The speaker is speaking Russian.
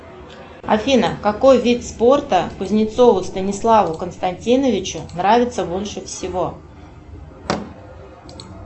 афина какой вид спорта кузнецову станиславу константиновичу нравится больше всего